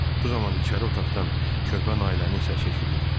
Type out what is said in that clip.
Bu zaman içəri otaqdan körpə Nailənin səsi eşidildi.